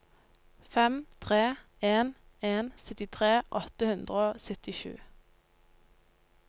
fem tre en en syttitre åtte hundre og syttisju